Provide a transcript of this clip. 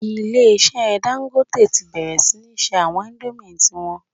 Ilé-ìṣẹ́ Dangote ti bẹ̀rẹ̀ sí ní se àwọn indomie ti wọn